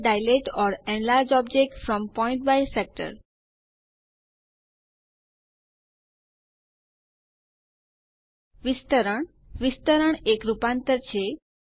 આગળ dilate or enlarge object from point by factor વિસ્તરણ વિસ્તરણ એક રૂપાંતર છે